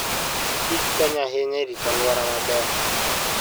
kich konyo ahinya e rito alwora maber.